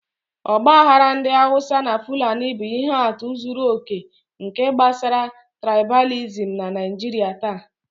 Ọgbaghara ndị Hausa na fulani bụ ihe atụ zuru oke nke gbasara trịbalìsịm na Naijiria taa.